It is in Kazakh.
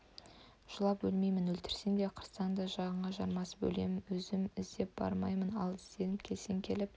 жылап өлмеймін өлтірсең де қырсаң да жағаңа жармасып өлемін өзім іздеп бармаймын ал ізденіп келсең келіп